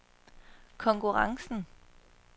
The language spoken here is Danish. konkurrencen